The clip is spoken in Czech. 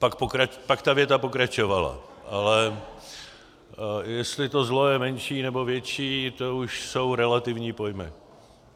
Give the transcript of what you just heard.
Pak ta věta pokračovala, ale jestli to zlo je menší nebo větší, to už jsou relativní pojmy.